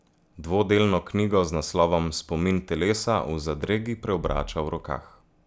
Dvodelno knjigo z naslovom Spomin telesa v zadregi preobrača v rokah.